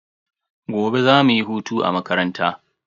Gobe za mu yi hutu a makaranta.